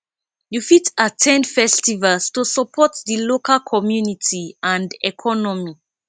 you fit at ten d festivals to support di local community and economy